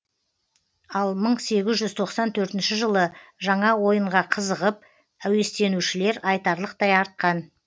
ал мың сегіз жүз тоқсан төртінші жылы жаңа ойынға қызығып әуестенушілер айтарлықтай артқан